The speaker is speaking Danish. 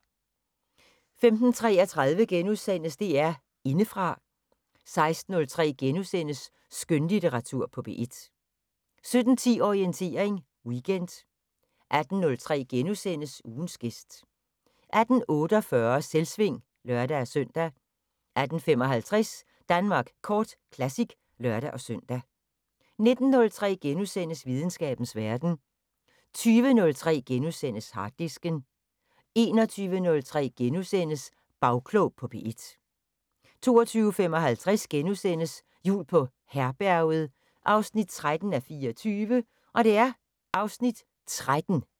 15:33: DR Indefra * 16:03: Skønlitteratur på P1 * 17:10: Orientering Weekend 18:03: Ugens gæst * 18:48: Selvsving (lør-søn) 18:55: Danmark Kort Classic (lør-søn) 19:03: Videnskabens Verden * 20:03: Harddisken * 21:03: Bagklog på P1 * 22:55: Jul på Herberget 13:24 (Afs. 13)*